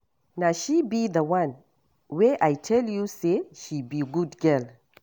Na she be the one wey I tell you say she be good girl